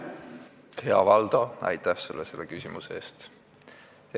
Hea Valdo, aitäh sulle selle küsimuse eest!